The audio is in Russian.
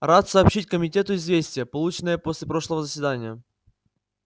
рад сообщить комитету известие полученное после прошлого заседания